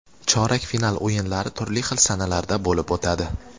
Chorak final o‘yinlari turli xil sanalarda bo‘lib o‘tadi.